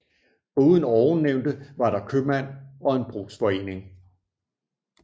Foruden ovennævnte var der købmand og brugsforening